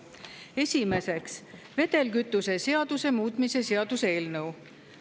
Esiteks, vedelkütuse seaduse muutmise seaduse eelnõu.